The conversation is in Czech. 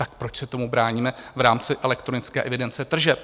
Tak proč se tomu bráníme v rámci elektronické evidence tržeb?